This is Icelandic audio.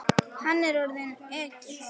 Hann er orðinn ekkill.